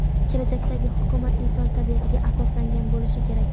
Kelajakdagi hukumat inson tabiatiga asoslangan bo‘lishi kerak.